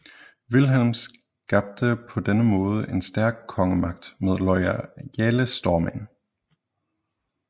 Vilhelm skabte på denne måde en stærk kongemagt med loyale stormænd